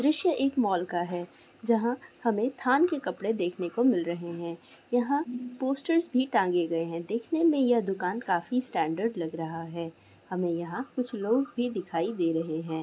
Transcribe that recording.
दृश्य एक मौल का हैं। जहाँ हमें थान के कपड़े देखने को मिल रहे हैं। यहाँ पोस्टर्स भी टांगे गये हैं। देखने में यह दुकान काफी स्टैंडर्ड् लग रहा हैं। हमें यहाँ कुछ लोग भी दिखाई दे रहे हैं।